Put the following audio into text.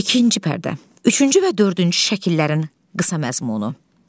İkinci pərdə, üçüncü və dördüncü şəkillərin qısa məzmunu.